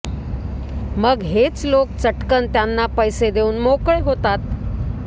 मग हेच लोक चटकन त्यांना पैसे देऊन मोकळे होतात